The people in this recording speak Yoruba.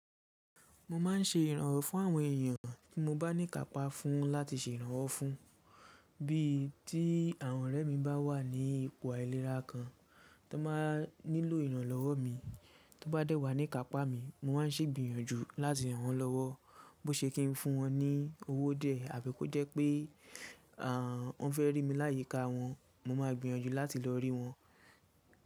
Mọ má n ṣe ìrànwọ́ fún àwọn èèyàn tí mọ bá ní kàpá fún láti ṣe iranwọ fún. Bíi tí àwọn ọ̀rẹ́ mi bá wà ní ipò àìlera kan, ti wọn báa nílò ìrànlọ́wọ́ mi, tọ bá dẹ́ wá ní kàpá mi, mo máa ń ṣègbìyànjú láti ràn wọ́n lọ́wọ́. Bó ṣe kí ń fún wọn ní owó diẹ, àbí kó jẹ́ pé wọ́n fẹ́ rí mi láyíkà wọn, mo máa gbìyànjú láti lọ rí wọn.